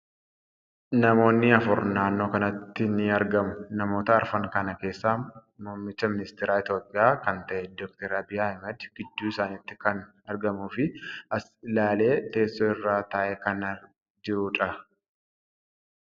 Namootni afur naannoo kanatti ni argamu. Namoota afran kana keessaa muummicha ministeera Itiyoophiyaa kan ta'e Dr. Abiy Ahmad gidduu isaanitti kan argamuu fi as ilaalee teessoo irra taa'ee kan jiruudha.